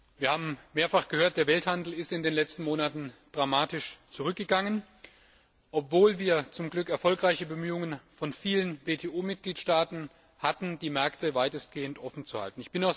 Wir haben mehrfach gehört, dass der Welthandel in den letzten drei Monaten dramatisch zurückgegangen ist, obwohl wir zum Glück erfolgreiche Bemühungen von vielen WTO Mitgliedstaaten hatten, die Märkte weitestgehend offen zu halten.